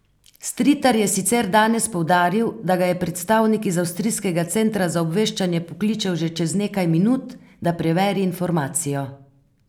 Stritar je sicer danes poudaril, da ga je predstavnik iz avstrijskega centra za obveščanje poklical že čez nekaj minut, da preveri informacijo.